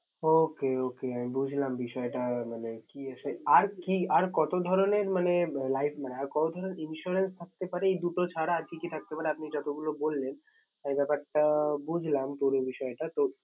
Okay okay আমি বুঝলাম বিষয়টা মানে কি হয়ছে। আর কি আর কত ধরনের মানে Life না Insurance থাকতে পারে এই দুটো ছাড়া। আর কি কি থাকতে পারে। আপনি যত গুলো বললেন । আমি ব্যাপারটা বুঝলাম পুরো বিষয়টা